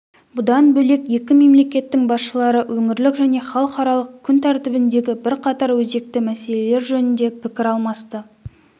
бұдан бөлек екі мемлекеттің басшылары өңірлік және халықаралық күн тәртібіндегі бірқатар өзекті мәселелер жөнінде пікір алмасты